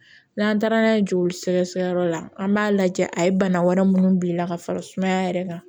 N'an taara n'a ye joli sɛgɛsɛgɛ yɔrɔ la an b'a lajɛ a ye bana wɛrɛ minnu bila ka fara sumaya yɛrɛ kan